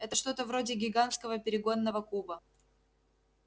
это что-то вроде гигантского перегонного куба